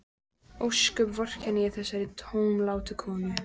Ósköp vorkenni ég þessari tómlátu konu.